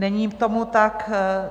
Není tomu tak.